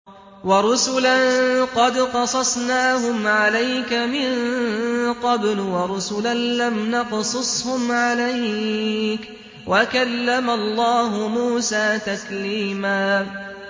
وَرُسُلًا قَدْ قَصَصْنَاهُمْ عَلَيْكَ مِن قَبْلُ وَرُسُلًا لَّمْ نَقْصُصْهُمْ عَلَيْكَ ۚ وَكَلَّمَ اللَّهُ مُوسَىٰ تَكْلِيمًا